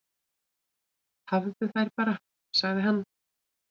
"""Hafðu þær bara, sagði hann."""